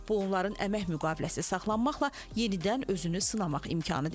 Bu onların əmək müqaviləsi saxlanmaqla yenidən özünü sınamaq imkanı deməkdir.